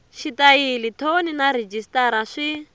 xitayili thoni na rhejisitara swi